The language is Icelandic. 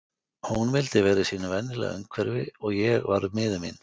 Hún vildi vera í sínu venjulega umhverfi og ég varð miður mín.